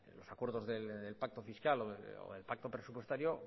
los acuerdos del pacto fiscal o el pacto presupuestario